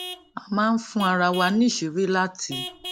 a máa ń fún ara wa níṣìírí láti